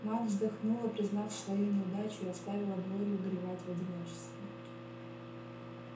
мать вздохнула признав свою неудачу и оставила глорию горевать в одиночестве